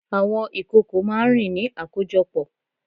Àwọn ìkòkò máá ń rìn ní àkójọpọ̀